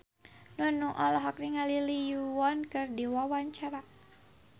Nunung olohok ningali Lee Yo Won keur diwawancara